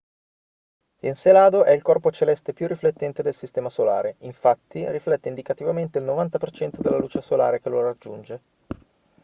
encelado è il corpo celeste più riflettente del sistema solare infatti riflette indicativamente il 90% della luce solare che lo raggiunge